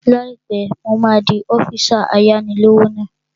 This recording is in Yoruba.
Láìpẹ́, mo máa di ọ́físà ayáni-lówó náà